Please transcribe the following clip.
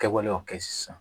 Kɛwale y'o kɛ sisan